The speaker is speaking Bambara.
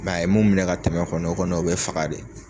a ye mun minɛ ka tɛmɛ kɔni o kɔni o be faga de.